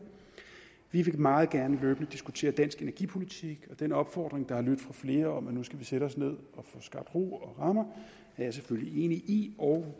vi vil meget gerne løbende diskutere dansk energipolitik og den opfordring fra flere om at vi nu skal sætte os ned og få skabt ro og rammer er jeg selvfølgelig enig i og